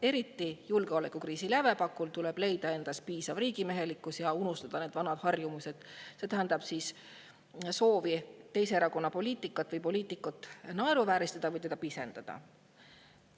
Eriti julgeolekukriisi lävepakul tuleb leida endas piisav riigimehelikkus ja unustada need vanad harjumused, see tähendab soov teise erakonna poliitikat või poliitikut naeruvääristada või pisendada.